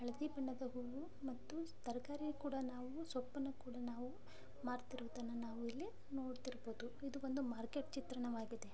ಹಳ್ದಿ ಬಣ್ಣದ ಹೂವು ಮತ್ತು ತರಕಾರಿ ಕೂಡಾ ನಾವು ಸೊಪ್ಪನ್ನು ಕೂಡಾ ನಾವು ಮಾರ್ತಿರುವದನ್ನ ನಾವ್ ಇಲ್ಲಿ ನೋಡ್ತಿರಬಹುದು. ಈದ್ ಒಂದು ಮಾರ್ಕೆಟ್ ಚಿತ್ರಣವಾಗಿದೆ.